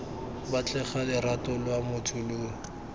batlega lorato lwa motho lo